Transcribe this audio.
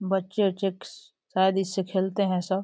बच्चे शायद इससे खेलते हैं सब।